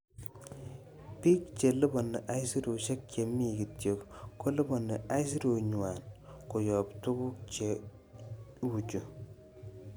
Bik che liponi aisurusiek chemi kityok, koliponi aisurutnywan koyob tuguk che uchu,"